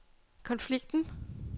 konflikten